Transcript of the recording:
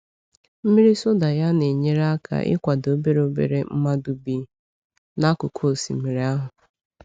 Mmiri soda ya na-enyere aka ịkwado obere obere mmadụ bi n’akụkụ osimiri ahụ.